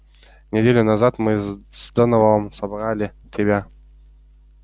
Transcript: неделю назад мы с донованом собрали тебя